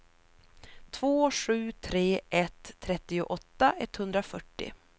två sju tre ett trettioåtta etthundrafyrtio